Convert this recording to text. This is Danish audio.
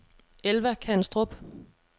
Elva Kanstrup